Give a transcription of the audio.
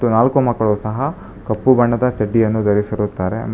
ನಾಲ್ಕು ಮಕ್ಕಳು ಸಹ ಕಪ್ಪು ಬಣ್ಣದ ಚಡ್ಡಿಯನ್ನು ಧರಿಸಿರುತ್ತಾರೆ.